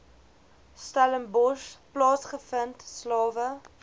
stellenbosch plaasgevind slawe